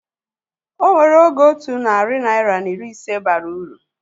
Onwere oge otu narị naira na iri ise bara uru